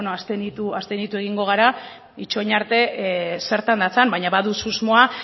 bueno abstenitu egingo gara itxoin arte zertan datzan baina badut susmoa